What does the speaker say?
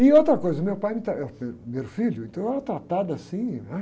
E outra coisa, meu pai me tra, era o primeiro, o primeiro filho, então eu era tratado assim, né?